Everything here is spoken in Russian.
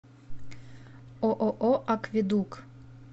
ооо акведук